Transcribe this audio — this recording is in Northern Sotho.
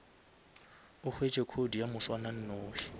o hwetše code ya moswananoši